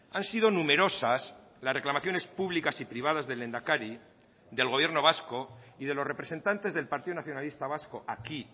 han sido numerosas las reclamaciones públicas y privadas del lehendakari del gobierno vasco y de los representantes del partido nacionalista vasco aquí